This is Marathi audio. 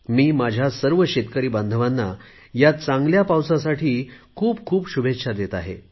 मी माझ्या सर्व शेतकरी बांधवांना ह्या चांगल्या पावसासाठी खूप खूप शुभेच्छा देत आहे